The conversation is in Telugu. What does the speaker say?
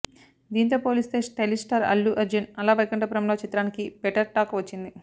దీంతో పోలిస్తే స్టైలిష్ స్టార్ అల్లు అర్జున్ అల వైకుంఠపురములో చిత్రానికి బెటర్ టాక్ వచ్చింది